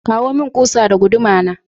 Kawo mun kusa da guduma!